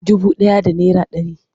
Dubu ɗaya da naira ɗari.